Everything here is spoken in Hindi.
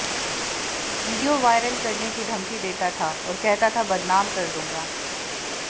वीडियो वायरल करने की धमकी देता था और कहता था बदनाम कर दूंगा